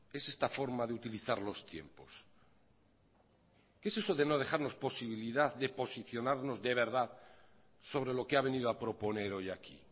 es esta forma de utilizar los tiempos qué es eso de no dejarnos posibilidad de posicionarnos de verdad sobre lo que ha venido a proponer hoy aquí